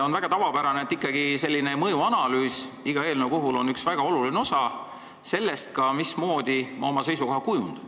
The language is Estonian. On tavapärane, et ikkagi eelnõu mõjuanalüüsil on väga oluline osa selles, mismoodi ma oma seisukoha kujundan.